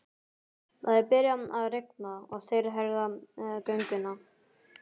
Það er byrjað að rigna og þeir herða gönguna.